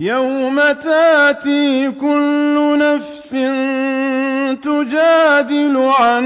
۞ يَوْمَ تَأْتِي كُلُّ نَفْسٍ تُجَادِلُ عَن